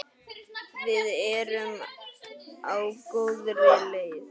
Við erum á góðri leið.